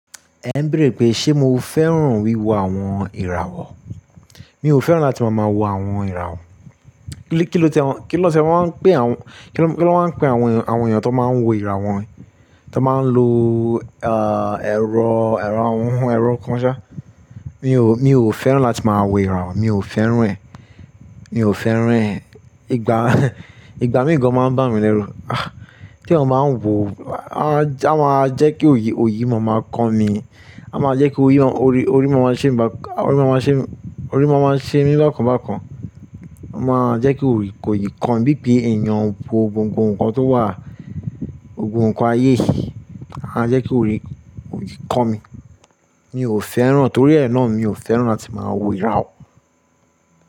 Ẹ n béèrè pé ṣe mo fẹ́ràn wíwo àwọn ìràwọ̀? Mi ò fẹ́ràn láti máa má wo àwọn ìràwọ̀. Kí ló ti ẹ wọ́n, kí ló ti ẹ wọ́n pé àwọn, kí ló, kí ló máa ń pe àwọn, àwọn èèyàn tó máa ń wo ìràwọn, tàn máa ń lo, ah, ẹ̀rọ, ẹ̀rọ, ẹ̀rọ kan ṣá. Mi ò, mi ò fẹ́ràn láti máa wo ìràwọ̀, mi ò fẹ́ràn rẹ̀. Mi ò fẹ́ràn rẹ̀. Ìgbà, ìgbà míì gan máa ń bá mi lẹ́rù. Tí èèyàn bá ń wò ó, a máa jẹ́ kí òòyì, òòyì máa máa kọ mi. A máa jẹ́ kí òòyì, orí, orí máa máa ṣe mi bá, orí máa máa ṣe, orí máa máa ṣe mí bákan bákan. A máa jẹ́ kí òòyì kan bí i pé èèyàn wò gbogbo nǹkan tó wà, gbogbo nǹkan ayé. A jẹ́ kí òòyì kàn mi. Mi ò fẹ́ràn, torí ẹ̀ náà mi ò fẹ́ràn láti máa wo ìràwọ̀.